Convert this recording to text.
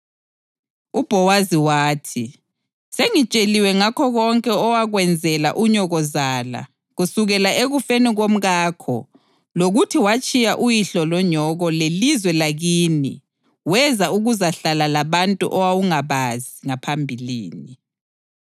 UBhowazi wathi, “Sengitsheliwe ngakho konke owakwenzela unyokozala kusukela ekufeni komkakho lokuthi watshiya uyihlo lonyoko lelizwe lakini weza ukuzahlala labantu owawungabazi ngaphambilini.